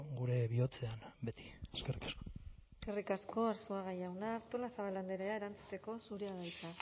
gure bihotzean beti eskerrik asko eskerrik asko arzuaga jauna artolazabal andrea erantzuteko zurea da hitza